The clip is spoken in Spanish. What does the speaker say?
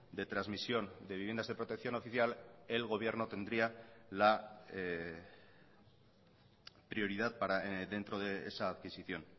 de transmisión de viviendas de protección oficial el gobierno tendría la prioridad dentro de esa adquisición